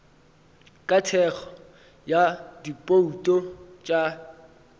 ka thekgo ya dibouto tša